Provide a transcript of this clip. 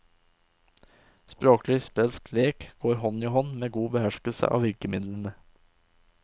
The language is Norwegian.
Språklig sprelsk lek går hånd i hånd med god beherskelse av virkemidlene.